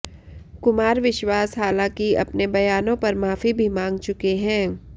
कुमार विश्वास हालांकि अपने बयानों पर माफी भी मांग चुके हैं